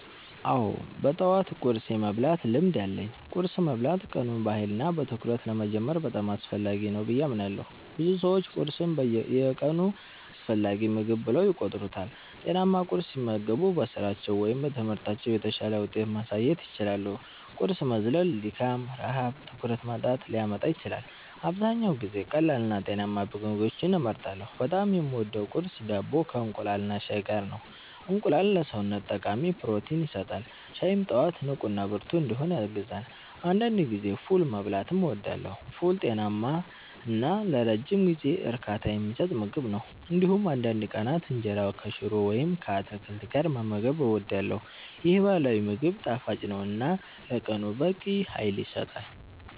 አዎ፣ በጠዋት ቁርስ የመብላት ልምድ አለኝ። ቁርስ መብላት ቀኑን በኃይልና በትኩረት ለመጀመር በጣም አስፈላጊ ነው ብዬ አምናለሁ። ብዙ ሰዎች ቁርስን የቀኑ አስፈላጊ ምግብ ብለው ይቆጥሩታል። ጤናማ ቁርስ ሲመገቡ በስራቸው ወይም በትምህርታቸው የተሻለ ውጤት ማሳየት ይችላሉ። ቁርስ መዝለል ድካም፣ ረሃብ እና ትኩረት ማጣትን ሊያመጣ ይችላል። አብዛኛውን ጊዜ ቀላልና ጤናማ ምግቦችን እመርጣለሁ። በጣም የምወደው ቁርስ ዳቦ ከእንቁላልና ሻይ ጋር ነው። እንቁላል ለሰውነት ጠቃሚ ፕሮቲን ይሰጣል፣ ሻይም ጠዋት ንቁና ብርቱ እንድሆን ያግዛል። አንዳንድ ጊዜ ፉል መብላትም እወዳለሁ። ፉል ጤናማ እና ለረጅም ጊዜ እርካታ የሚሰጥ ምግብ ነው። እንዲሁም አንዳንድ ቀናት እንጀራ ከሽሮ ወይም ከአትክልት ጋር መመገብ እወዳለሁ። ይህ ባህላዊ ምግብ ጣፋጭ ነው እና ለቀኑ በቂ ኃይል ይሰጣል።